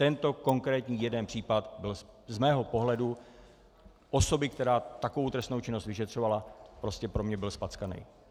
Tento konkrétní jeden případ byl z mého pohledu osoby, která takovou trestnou činnost vyšetřovala, prostě pro mě byl zpackaný.